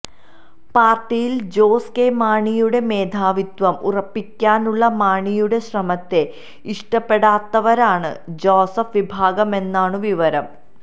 പാര്ട്ടിയില് ജോസ് കെ മാണിയുടെ മേധാവിത്വം ഉറപ്പിക്കാനുള്ള മാണിയുടെ ശ്രമത്തെ ഇഷ്ടപ്പെടാത്തവരാണ് ജോസഫ് വിഭാഗമെന്നാണു വിവരം